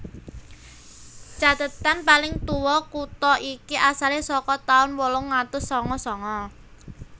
Cathetan paling tuwa kutha iki asale saka taun wolung atus sanga sanga